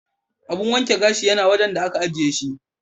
Abin wanke gashi yana wajan da ake ajiye shi.